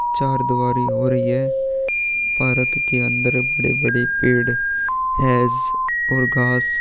चार दुवारी हो रही है पार्क के अंदर बड़े -बड़े पेड़ है और घास--